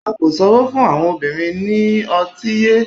a ko sanwo fún àwọn obìnrin ni oti yé